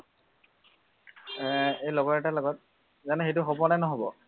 এৰ এই লগৰ এটাৰ লগত, জানো সেইটো হবনে নহব?